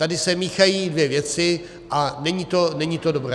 Tady se míchají dvě věci a není to dobré.